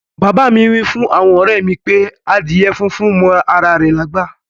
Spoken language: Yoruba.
Baba mi wifun awon ore mi pe adíè fúnfún mọ ara rè lágbá.